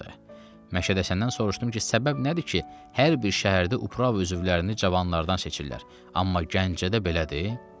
Məşədi Həsəndən soruşdum ki, səbəb nədir ki, hər bir şəhərdə Uprava üzvlərini cavanlardan seçirlər, amma Gəncədə belədir?